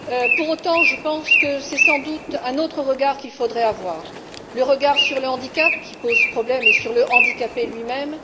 Pour autant, je pense que c'est sans doute un autre regard qu'il faudrait avoir, à la fois sur le handicap, qui pose problème, et sur le handicapé lui même.